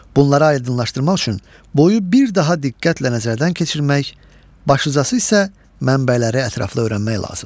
Bunları aydınlaşdırmaq üçün boyu bir daha diqqətlə nəzərdən keçirmək, başlıcası isə mənbələri ətraflı öyrənmək lazımdır.